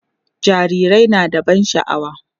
jarirai na da ban sha'awa